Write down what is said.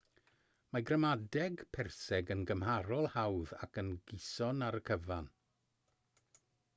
mae gramadeg perseg yn gymharol hawdd ac yn gyson ar y cyfan